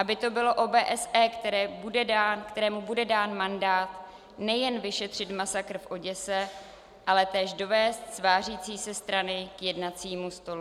Aby to bylo OBSE, kterému bude dán mandát nejen vyšetřit masakr v Oděse, ale též dovést svářící se strany k jednacímu stolu.